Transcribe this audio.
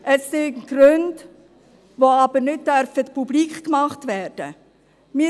Es sind Gründe, die aber nicht publik gemacht werden dürfen.